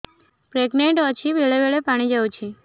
pregnant ଅଛି ବେଳେ ବେଳେ ପାଣି ଯାଉଛି